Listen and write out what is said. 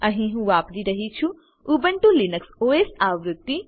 અહી હું વાપરી રહ્યી છું ઉબુન્ટુ લિનક્સ ઓએસ આવૃત્તિ